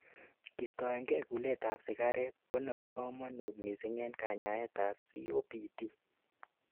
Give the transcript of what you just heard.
kistoenge kulet ab sigaret ko nebo kamanut mising en kanyaet ab COPD